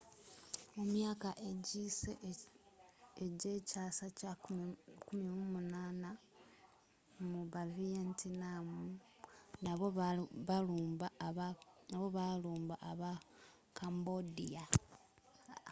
mu myaka egiyise egyekyaasa kye 18th mu bavietnam nabo baalumba aba cambodia